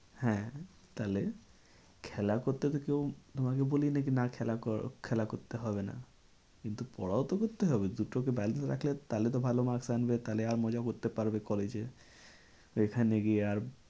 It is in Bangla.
হ্যাঁ তাহলে খেলা করতে তো কেউ তোমাকে বলিনি যে না খেলা করো, খেলা করতে হবে না। কিন্তু পড়াও তো করতে হবে দুটোকে balance রাখলে তাহলে তো ভালো maks আনবে তাহলে আর মজা করতে পারবে collage এ সেখানে গিয়ে আর